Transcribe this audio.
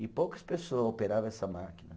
E poucas pessoa operava essa máquina.